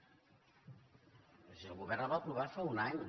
és a dir el govern la va aprovar fa un any